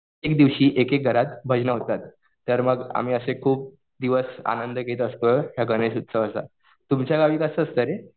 दिवशी एक एक घरात भजनं होतात. तर मग आम्ही असे खुप दिवस आनंद घेत असतोय या गणेश उत्सवाचा. तुमच्या गावी कसं असतं रे?